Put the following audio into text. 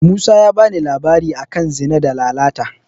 Musa ya bani labari a kan Zina da Lalata.